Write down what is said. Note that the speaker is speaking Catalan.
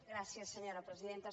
gràcies senyora presidenta